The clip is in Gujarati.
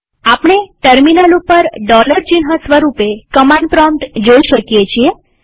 આપણે ટર્મિનલ ઉપર ચિહ્ન સ્વરૂપે કમાંડ પ્રોમ્પ્ટ જોઈ શકીએ છીએ